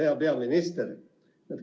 Hea peaminister!